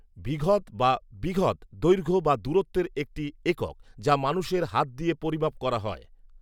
বিঘত বা বিঘৎ দৈর্ঘ্য বা দূরত্বের একটি একক, যা মানুষের হাত দিয়ে পরিমাপ করা হয়